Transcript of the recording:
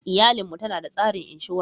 Iyalin mu tanada tsarin inshora.